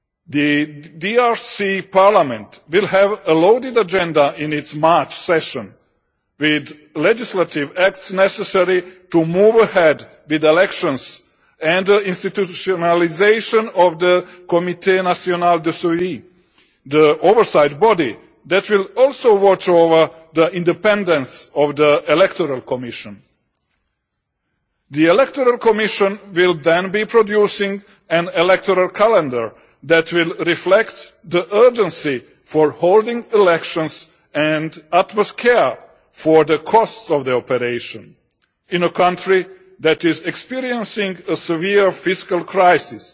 The DRC parliament will have a loaded agenda in its March session with the legislative acts necessary to move ahead with elections and the institutionalisation of the Comité National de Suivi the oversight body that will also watch over the independence of the Electoral Commission. The Electoral Commission will then produce an electoral calendar that will reflect the urgency for holding elections and utmost care for the costs of the operation in a country that is experiencing a severe fiscal crisis